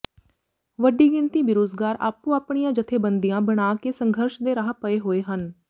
ਵੱਡੀ ਗਿਣਤੀ ਬੇਰੁਜ਼ਗਾਰ ਆਪੋ ਆਪਣੀਆਂ ਜਥੇਬੰਦੀਆਂ ਬਣਾ ਕੇ ਸੰਘਰਸ਼ ਦੇ ਰਾਹ ਪਏ ਹੋਏ ਹਨ